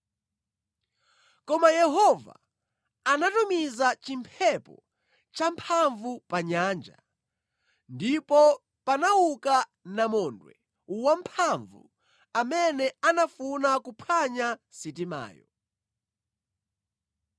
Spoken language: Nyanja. Koma Yehova anatumiza chimphepo champhamvu pa nyanja, ndipo panauka namondwe wamphamvu amene anafuna kuphwanya sitimayo.